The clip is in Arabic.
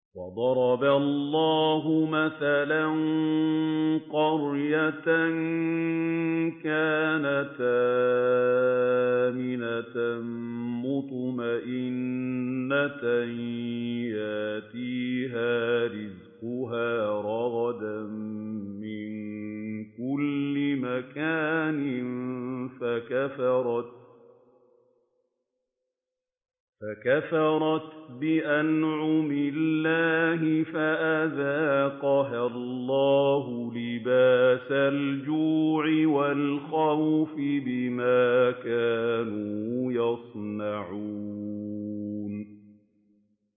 وَضَرَبَ اللَّهُ مَثَلًا قَرْيَةً كَانَتْ آمِنَةً مُّطْمَئِنَّةً يَأْتِيهَا رِزْقُهَا رَغَدًا مِّن كُلِّ مَكَانٍ فَكَفَرَتْ بِأَنْعُمِ اللَّهِ فَأَذَاقَهَا اللَّهُ لِبَاسَ الْجُوعِ وَالْخَوْفِ بِمَا كَانُوا يَصْنَعُونَ